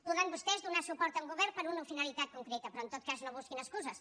podran vostès donar suport a un govern per a una finalitat concreta però en tot cas no busquin excuses